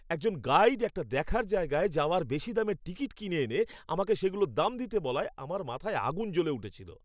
একজন গাইড একটা দেখার জায়গায় যাওয়ার বেশি দামের টিকিট কিনে এনে আমাকে সেগুলোর দাম দিতে বলায় আমার মাথায় আগুন জ্বলে উঠেছিল।